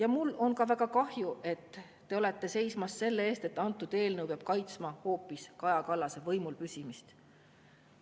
Aga mul on ka väga kahju, et te seisate selle eest, et eelnõu peab kaitsma hoopis Kaja Kallase võimulpüsimist.